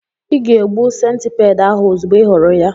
Ị ga-egbu centipede ahụ ozugbo ị hụrụ ya.